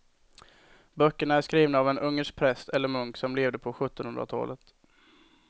Böckerna är skrivna av en ungersk präst eller munk som levde på sjuttonhundratalet.